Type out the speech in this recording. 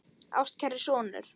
Ástkæri sonur